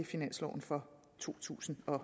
finansloven for to tusind og